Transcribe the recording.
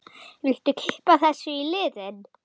Viltu kippa þessu í liðinn?